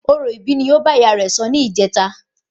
Orò ìbí ni ó bá ìyá rẹ sọ ni ìjeta